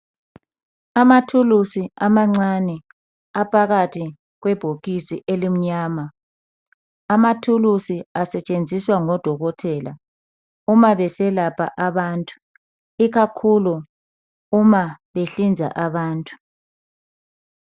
amathuluzi amancane aphakathi kwe bhokisi elimnyama ,amathuluzi asetshenziswa ngodokotela uma beselapha abantu ikakhulu uma behlinza abantu